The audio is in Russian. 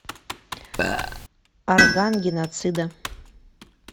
орган геноцида